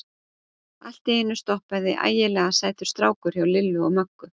Allt í einu stoppaði ægilega sætur strákur hjá Lillu og Möggu.